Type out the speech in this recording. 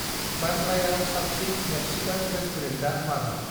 बान्द्रायाव साबसिन मे्कसिकान रेस्टुरेन्टा माबि?